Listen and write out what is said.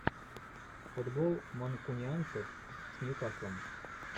футбол манкунианцев с ньюкаслом